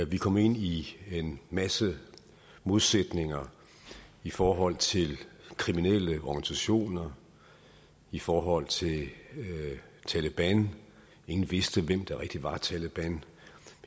vi kom ind i en masse modsætninger i forhold til kriminelle organisationer i forhold til taleban ingen vidste hvem der rigtig var taleban